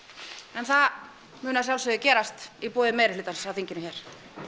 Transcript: en það mun að sjálfsögðu gerast í boði meirihlutans á þinginu hér